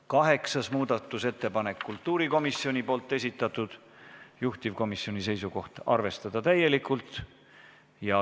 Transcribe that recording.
Kaheksas muudatusettepanek on kultuurikomisjoni esitatud, juhtivkomisjoni seisukoht on arvestada täielikult.